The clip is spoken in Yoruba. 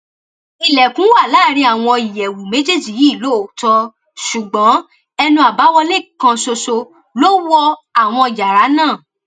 ilẹkùn wà láàrin àwọn ìyẹwù méjèèjì yìí lóòótọ ṣùgbọn ẹnu àbáwọlé kan ṣoṣo ló wọ àwọn yàrá náà